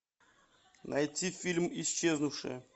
найти фильм исчезнувшая